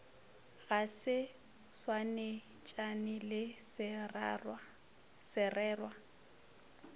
ga se swanetšane le sererwa